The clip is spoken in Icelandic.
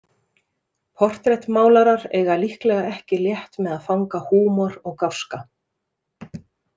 Portrettmálarar eiga líklega ekki létt með að fanga húmor og gáska.